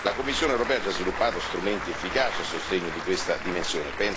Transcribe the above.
La Commissione europea ha già sviluppato strumenti efficaci a sostegno di questa dimensione.